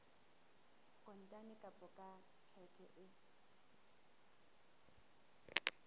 kontane kapa ka tjheke e